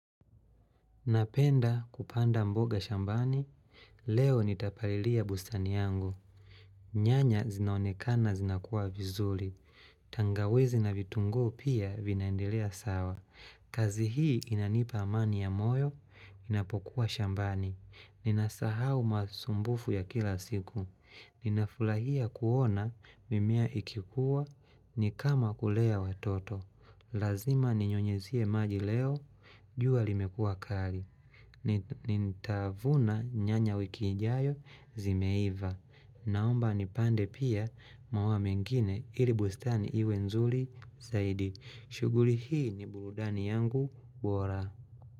Napenda kupanda mboga shambani, leo nitapalilia bustani yangu. Nyanya zinaonekana zinakuwa vizuri. Tangawizi na vitunguu pia vinaendelea sawa. Kazi hii inanipa amani ya moyo, ninapokuwa shambani. Ninasahau masumbufu ya kila siku. Ninafurahia kuona mimea ikikuwa, nikama kulea watoto. Lazima ninyunyuzie maji leo, jua limekua kali. Nitavuna nyanya wiki ijayo zimeiva Naomba nipande pia maua mengine ili bustani iwe nzuri zaidi. Shughuli hii ni burudani yangu bora.